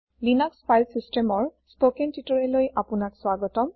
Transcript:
Linux file চিচটেমৰ spoken টিউটৰিয়েললৈ আপোনাক স্বাগতম